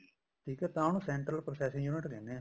ਠੀਕ ਆ ਤਾਂ ਉਹਨੂੰ central processing unit ਕਹਿਨੇ ਏ